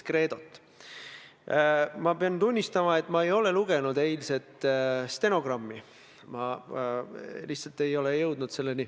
Nii et ma vastan, auväärt Riigikogu liige, ka teie teisele küsimusele täpselt samamoodi.